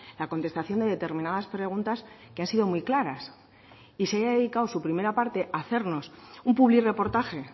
la contestación de determinadas preguntas que han sido muy claras y se haya dedicado su primera parte a hacernos un publirreportaje